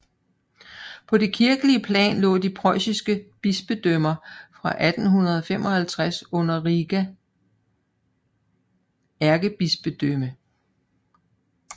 På det kirkelige plan lå de preussiske bispedømmer fra 1255 under Riga ærkebispedømme